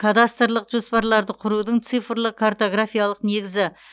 кадастрлық жоспарларды құрудың цифрлық картографиялық негізі